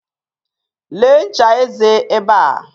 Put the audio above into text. Lee ncha eze ebe a.